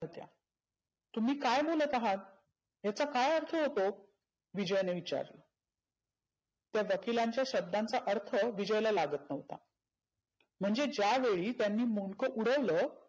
होत्या तुम्ही काय बोलत आहात? याचा काय अर्थ होतो? विजयने विचारलं. तर वकीलाच्या शब्दांचा अर्थ विजयला लागत नव्हता. म्हणजे ज्या वेळी त्यांनी मुंडक उडवलं